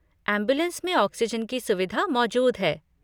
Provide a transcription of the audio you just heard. Ambulance में oxygen की सुविधा मौजूद है।